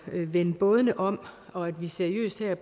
vende bådene om og at vi seriøst her